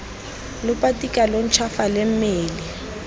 lo patika lo ntšhwafale mme